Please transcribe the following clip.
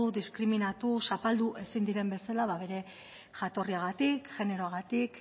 diskriminatu zapaldu ezin diren bezala bada bere jatorriagatik generoagatik